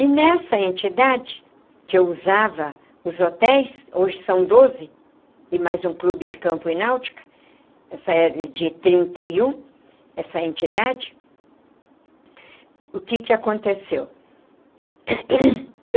E nessa entidade que eu usava os hotéis, hoje são doze, e mais um clube de campo e Náutica, essa é de trinta e um, essa entidade, o que que aconteceu?